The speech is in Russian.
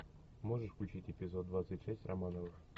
можешь включить эпизод двадцать шесть романовых